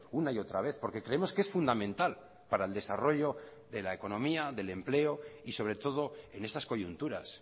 una y otra vez porque creemos que es fundamental para el desarrollo de la economía del empleo y sobre todo en estas coyunturas